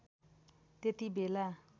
त्यती बेला